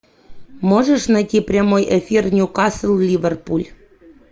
можешь найти прямой эфир ньюкасл ливерпуль